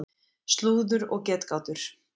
Slúður og getgátur.